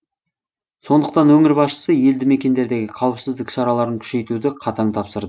сондықтан өңір басшысы елді мекендердегі қауіпсіздік шараларын күшейтуді қатаң тапсыр